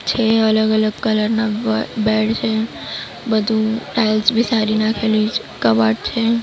છે. અલગ અલગ કલર ના બ બેડ છે બધું ટાઇલ્સ બી સારી નાખેલી છે કબાટ છે.